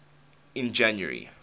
in january